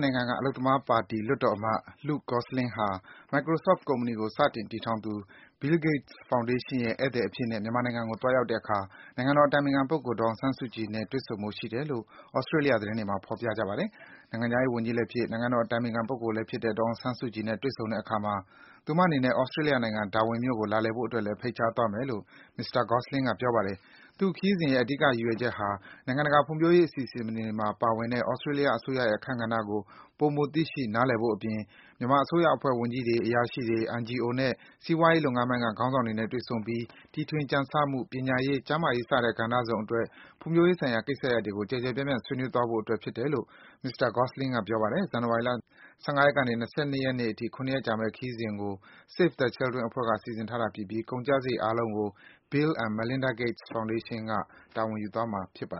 နိုင်ငံက အလုပ်သမားပါတီ လွှတ်တော်အမတ် Luke Gosling ဟာ Microsoft ကုမ္ပဏီကို စတင်တည်ထောင်သူ Bill Gates Foundation ရဲ့ ဧည့်သည်အဖြစ်နဲ့ မြန်မာနိုင်ငံကို သွားရောက်တဲ့အခါ နိုင်ငံတော်အတိုင်ပင်ခံပုဂ္ဂိုလ် ဒေါ်အောင်ဆန်းစုကြည်နဲ့ တွေ့ဆုံဖို့ ရှိတယ်လို့ သြစတေးလျ သတင်းတွေမှာ ဖော်ပြကြပါတယ်။ နိုင်ငံခြားရေးဝန်ကြီးလည်းဖြစ်၊ နိုင်ငံတော်အတိုင်ပင်ခံပုဂ္ဂိုလည်းဖြစ်တဲ့ ဒေါ်အောင်ဆန်းစုကြည်နဲ့ တွေ့ဆုံတဲ့အခါမှာတော့ သူမအနေနဲ့သြစတြေးလျနိုင်ငံ Darwin မြို့ကို လာလည်ဖို့အတွက်လည်း ဖိတ်ကြားသွားမယ်လို့ မစ္စတာ Gosling က ပြောပါတယ်။ သူ့ခရီးစဉ်ရဲ့ အဓိက ရည်ရွယ်ချက်ဟာ နိုင်ငံတကာ ဖွံ့ဖြိုးရေးအစီအစဉ်တွေမှာ ပါဝင်တဲ့ သြစတြေးလျ အစိုးရရဲ့ အခန်းကဏ္ဍကို ပိုမို သိရှိ နားလည်ဖို့အပြင်၊ မြန်မာအစိုးရအဖွဲ့ဝင် ဝန်ကြီးတွေ၊ အရာရှိတွေ၊ NGO နဲ့ စီးပွားရေးလုပ်ငန်းပိုင်းက ခေါင်းဆောင်တွေနဲ့ တွေ့ဆုံပြီး တီထွင်ကြံဆမှု၊ ပညာရေး၊ ကျန်းမာရေး စတဲ့ကဏ္ဍစုံအတွက် ဖွံ့ဖြိုးရေးဆိုင်ရာ ကိစ္စရပ်တွေကို ကျယ်ကျယ်ပြန့်ပြန့် ဆွေးနွေးသွားဖို့အတွက် ဖြစ်တယ်လို့ မစ္စတာ Gosling က ပြောပါတယ်။ ဇန်နဝါရီလ ၁၅ ရက်နေ ၂၂ ရက်နေ့အထိ ၇ ရက်ကြာမယ် ဒီခရီးစဉ်ကို Save the Children အဖွဲ့က စီစဉ်တာဖြစ်ပြီး ကုန်ကျစားရိတ်အားလုံးကို Bill and Melinda Gates Foundation က တာဝန်ယူသွားမှာဖြစ်တယ